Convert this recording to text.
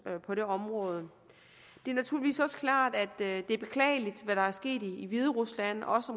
på det område det er naturligvis også klart at det er beklageligt hvad der er sket i hviderusland også